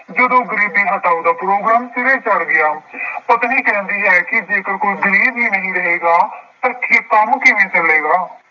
ਜਦੋਂ ਗਰੀਬੀ ਹਟਾਉਣ ਦਾ ਪ੍ਰੋਗਰਾਮ ਸਿਰੇ ਚੜ੍ਹ ਗਿਆ। ਪਤਨੀ ਕਹਿੰਦੀ ਹੈ ਕਿ ਜੇਕਰ ਕੋਈ ਗਰੀਬ ਹੀ ਨਹੀਂ ਰਹੇਗਾ ਤਾਂ ਕੰਮ ਕਿਵੇਂ ਕਰੇਗਾ।